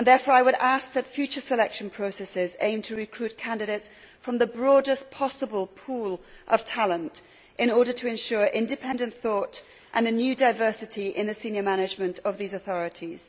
I would ask, therefore, that future selection processes aim to recruit candidates from the broadest possible pool of talent in order to ensure independent thought and a new diversity in the senior management of such authorities.